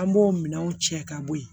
An b'o minɛnw cɛ ka bɔ ye